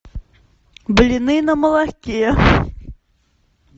блины на молоке